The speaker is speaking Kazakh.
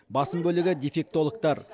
басым бөлігі дефектологтар